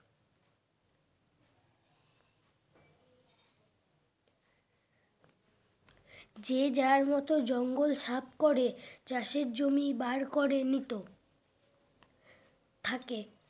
যে যার মতো জঙ্গল সাফ করে চাষের জমি বার করে নিতো থাকে